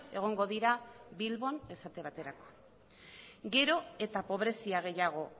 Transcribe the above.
egongo dira bilbon esate baterako gero eta pobrezia gehiago